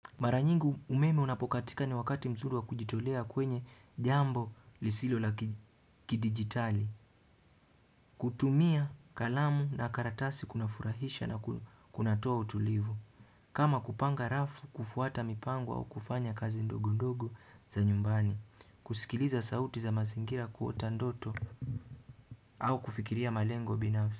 Mara nyingi umeme unapokatika ni wakati mzuri wa kujitolea kwenye jambo lisilo la kidigitali. Kutumia kalamu na karatasi kunafurahisha na kunatoa utulivu. Kama kupanga rafu, kufuata mipango au kufanya kazi ndogo ndogo za nyumbani. Kusikiliza sauti za mazingira, kuota ndoto au kufikiria malengo binafsi.